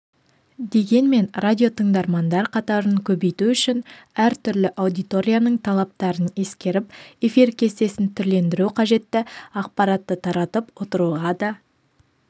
дегенмен радио тыңдармандар қатарын көбейту үшін әртүрлі аудиторияның талаптарын ескеріп эфир кестесін түрлендіру қажетті ақпаратты таратып отыруға да